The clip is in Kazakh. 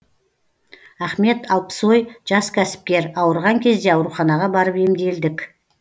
ахмет алпсой жас кәсіпкер ауырған кезде ауруханаға барып емделдік